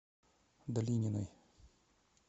долининой